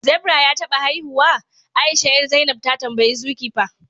zebra ya taba haihuwa? Aisha 'yar, zainab ta tambayi Zoe kepper